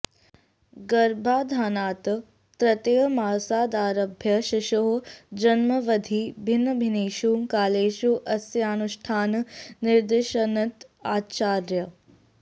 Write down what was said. गर्भाधानात् तृतीयमासादारभ्य शीशोः जन्मावधि भिन्नभिन्नेषु कालेषु अस्यानुष्ठानं निर्दिशन्ति आचार्याः